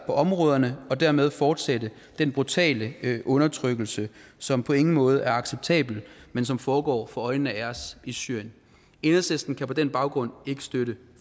områderne og dermed fortsætte den brutale undertrykkelse som på ingen måde er acceptabel men som foregår for øjnene af os i syrien enhedslisten kan på den baggrund ikke støtte